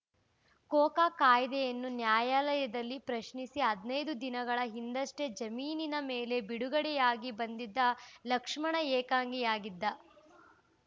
Coca ಕಾಯ್ದೆಯನ್ನು ನ್ಯಾಯಾಲಯದಲ್ಲಿ ಪ್ರಶ್ನಿಸಿ ಹದಿನೈದು ದಿನಗಳ ಹಿಂದಷ್ಟೇ ಜಾಮೀನಿನ ಮೇಲೆ ಬಿಡುಗಡೆಯಾಗಿ ಬಂದಿದ್ದ ಲಕ್ಷ್ಮಣ ಏಕಾಂಗಿಯಾಗಿದ್ದ